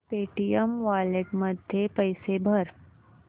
Paytm wallet मध्ये पैसे भर